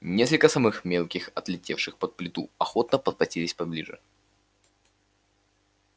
несколько самых мелких отлетевших под плиту охотно подкатились поближе